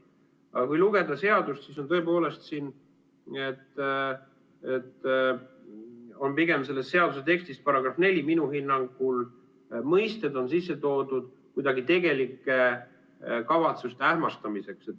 Aga kui lugeda seadust, siis pigem on selles seaduse tekstis § 4 minu hinnangul mõisted sisse toodud kuidagi tegelike kavatsuste ähmastamiseks.